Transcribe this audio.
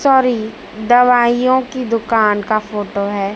Sorry दवाइयों की दुकान का फोटो है।